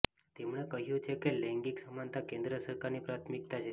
તેમણે કહ્યુ છે કે લૈંગિક સમાનતા કેન્દ્ર સરકારની પ્રાથમિકતા છે